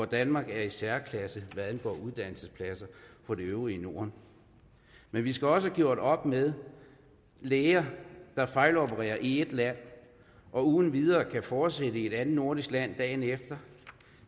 danmark er i særklasse hvad angår uddannelsespladser for det øvrige norden men vi skal også have gjort op med læger der fejlopererer i ét land og uden videre kan fortsætte i et andet nordisk land dagen efter